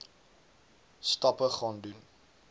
stappe gaan doen